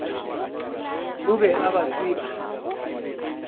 o be a ba tseba